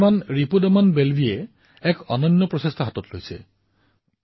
শ্ৰীমান ৰিপুদমন বেল্বীজীয়ে এক অতুলনীয় প্ৰয়াস কৰিছিল